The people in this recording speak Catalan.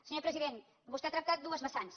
senyor president vostè ha tractat dues vessants